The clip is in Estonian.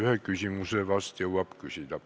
Ühe küsimuse vast jõuab küsida.